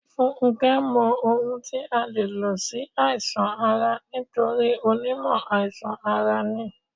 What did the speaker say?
Fúnké mọ ohun tí a lè lò sí àìsàn ara nítorí onímọ̀ àìsàn ara ní.